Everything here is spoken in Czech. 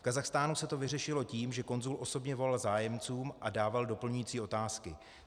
V Kazachstánu se to vyřešilo tím, že konzul osobně volal zájemcům a dával doplňující otázky.